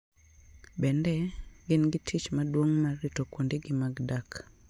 Bende, gin gi tich maduong' mar rito kuondegi mag dak.